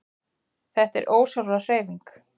Þetta er ósjálfráð hreyfing.